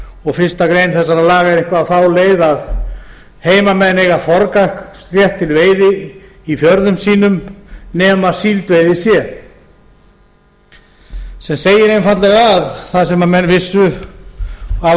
og fyrstu grein þessara lag er eitthvað á þá leið að heimamenn eiga forgangsrétt til veiði í fjörðum sínum nema síldveiði sé sem segir einfaldlega það sem menn vissu og hafa